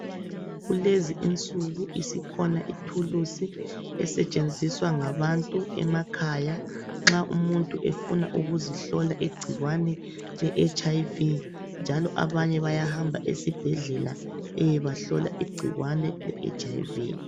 Kulezi insuku isikhona ithuluzi esetshenziswa ngabantu emakhaya nxa umuntu efuna ukuzihlola igcikwane leHIV, njalo abanye bayahamba esibhedlela beyebahlola igcikwane leHIV.